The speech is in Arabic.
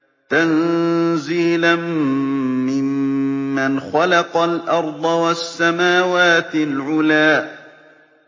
تَنزِيلًا مِّمَّنْ خَلَقَ الْأَرْضَ وَالسَّمَاوَاتِ الْعُلَى